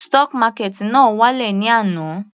Stock market náà wá lẹ̀ ní àná.